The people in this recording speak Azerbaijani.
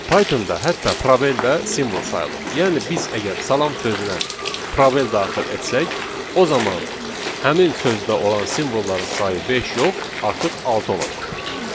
Pythonda hətta prabel da simvol sayılır, yəni biz əgər salam sözünə prabel daxil etsək, o zaman həmin sözdə olan simvolların sayı beş yox, artıq altı olacaqdır.